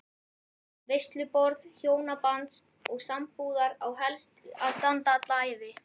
Veisluborð hjónabands og sambúðar á helst að standa alla ævi.